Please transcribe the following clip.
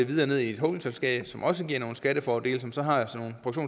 videre ned i et holdingselskab som også giver nogle skattefordele som så har sådan